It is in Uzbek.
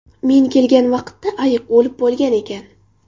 Men kelgan paytda ayiq o‘lib bo‘lgan ekan.